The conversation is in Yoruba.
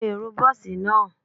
Awọn ero bọọsi naa